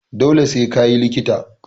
Dole sai ka yi likita!